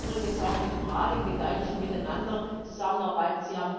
Wir wollen übrigens auch mit dem Rat im gedeihlichen Miteinander zusammenarbeiten.